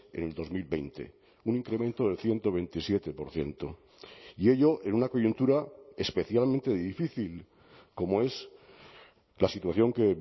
en el dos mil veinte un incremento del ciento veintisiete por ciento y ello en una coyuntura especialmente difícil como es la situación que